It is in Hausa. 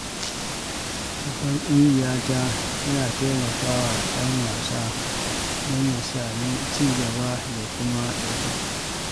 Babbar ƙungiya ta na taimaka wa ɗan wasa domin ya sami ci gaba da kuma ɗaukaka.